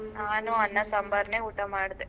ನಾನು ಅನ್ನ ಸಾಂಬಾರ್ ನೇ ಊಟ ಮಾಡ್ದೆ.